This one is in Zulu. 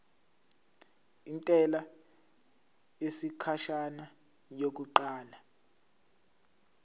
intela yesikhashana yokuqala